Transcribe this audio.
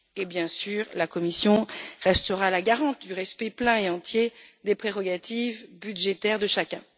Bien sûr, la Commission restera la garante du respect plein et entier des prérogatives budgétaires de chacun.